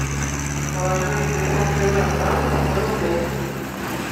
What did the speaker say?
положи на телефон юры абрамова сто рублей